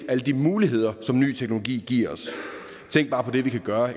alle de muligheder som ny teknologi giver os tænk bare på det vi kan gøre